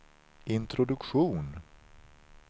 introduktion